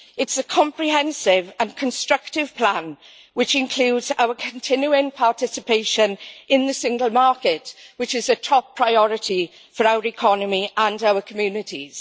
It is a comprehensive and constructive plan, which includes our continuing participation in the single market, which is a top priority for our economy and our communities.